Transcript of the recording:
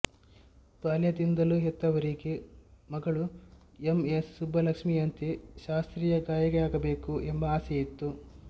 ಬಾಲ್ಯದಿಂದಲೂ ಹೆತ್ತವರಿಗೆ ಮಗಳು ಎಂ ಎಸ್ ಸುಬ್ಬುಲಕ್ಷ್ಮಿಯಂತೆ ಶಾಸ್ತ್ರೀಯ ಗಾಯಕಿಯಾಗಬೇಕು ಎಂಬ ಆಸೆಯಿತ್ತು